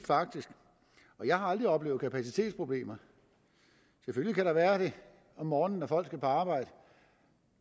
og jeg har aldrig oplevet kapacitetsproblemer selvfølgelig kan der være det om morgenen når folk skal på arbejde